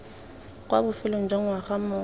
kwa bofelong jwa ngwaga mongwe